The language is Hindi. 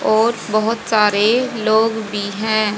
और बहोत सारे लोग भी हैं।